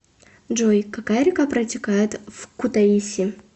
джой какая река протекает в кутаиси